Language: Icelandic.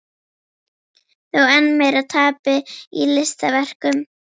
Þó enn meira tapi í listaverkum.